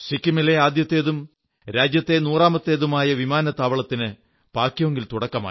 സിക്കിമിലെ ആദ്യത്തേതും രാജ്യത്തെ നൂറാമത്തേതുമായ വിമാനത്താവളത്തിന് പാക്യോംഗിൽ തുടക്കമായി